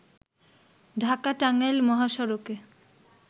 ঢাকা-টাঙ্গাইল মহাসড়কে